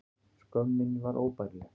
Skömm mín var óbærileg.